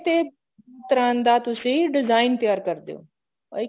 ਤੇ ਉਸ ਤਰ੍ਹਾਂ ਦਾ ਤੁਸੀਂ design ਤਿਆਰ ਕਰਦੇ ਓ ਆਹੀ